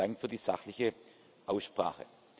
Besten Dank für die sachliche Aussprache!